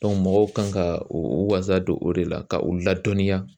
mɔgɔw kan ka u wasa don o de la ka u ladɔnniya